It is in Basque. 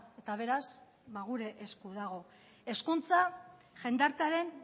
eta beraz ba gure esku dago hezkuntza jendartearen